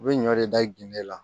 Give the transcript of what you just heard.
U bɛ ɲɔ de da ginde la